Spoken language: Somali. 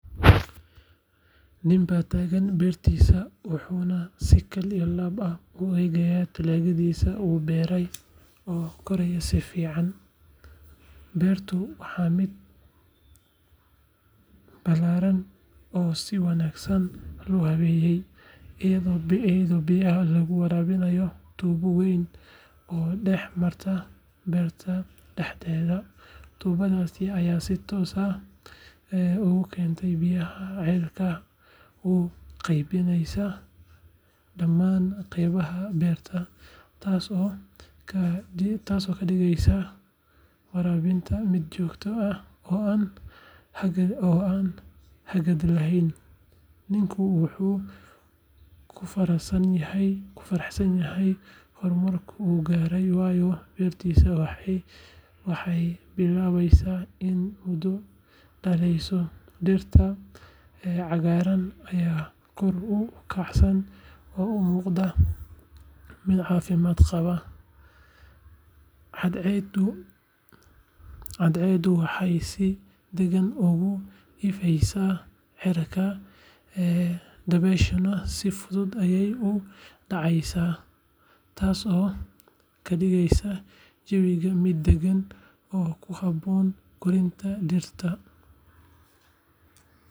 Ninbaa taagan beertiisa, wuxuuna si kal iyo laab ah u eegayaa dalagyadii uu beeray oo koraya si fiican. Beertu waa mid ballaaran oo si wanaagsan loo habeeyey, iyadoo biyaha lagu waraabinayo tuubo weyn oo dhex martay beerta dhexdeeda. Tuubadaas ayaa si toos ah uga keenta biyaha ceelka una qaybinaysa dhammaan qaybaha beerta, taasoo ka dhigaysa waraabinta mid joogto ah oo aan hakad lahayn. Ninku wuu ku faraxsan yahay horumarka uu gaaray, waayo beertiisu waxay bilaabaysaa inay midho dhalayso, dhirta cagaaran ayaa kor u kacsan oo u muuqata mid caafimaad qabta. Cadceeddu waxay si deggan uga ifaysaa cirka, dabayshuna si fudud ayey u dhacaysaa, taasoo ka dhigaysa jawiga mid daggan oo ku habboon koritaanka dhirta.